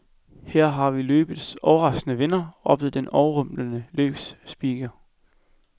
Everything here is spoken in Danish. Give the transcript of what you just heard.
Her har vi løbets overraskende vinder, råbte den overrumplede løbsspeaker.